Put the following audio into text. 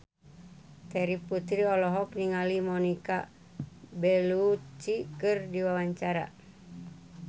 Terry Putri olohok ningali Monica Belluci keur diwawancara